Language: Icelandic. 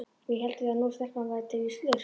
Við héldum það nú, stelpan væri til í slurk.